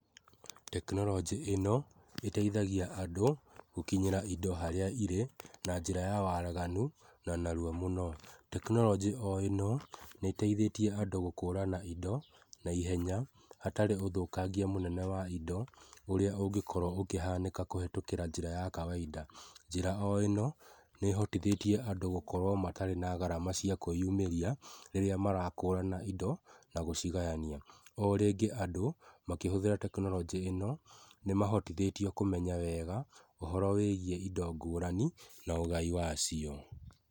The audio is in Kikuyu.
Tekinoronjĩ ĩno ĩteithagia andũ gũkinyĩra indo harĩa irĩ, na njiĩra ya waraganu, na narua mũno. Tekinoronji o ĩno, nĩ iteithhetie andũ gũkora na indo, na ihenya, hatarĩ gũthokagia wa indo ũrĩa ũngekorwo ũkĩhaneka kũhĩtũkĩra njĩra ya kawaida. Njĩra o ĩno, nĩhotithetie andũ gũkorwo matarĩ na garama cia kũiyumeria rĩrĩa marakora na indo, na gũcigayania. O rĩngĩ andũ makĩhũthĩra tekinoronjĩ ĩno nĩmahotithetio kũmenya wega, ohoro wĩigiĩ indo ngũrani, na wúũgai wacio.